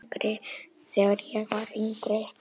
Þegar ég var yngri.